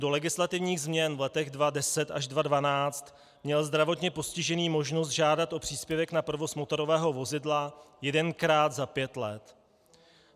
Do legislativních změn v letech 2010 až 2012 měl zdravotně postižený možnost žádat o příspěvek na provoz motorového vozidla jedenkrát za pět let.